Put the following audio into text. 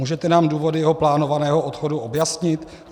Můžete nám důvody jeho plánovaného odchodu objasnit?